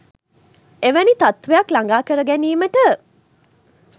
එවැනි තත්වයක් ලඟා කර ගැනීමට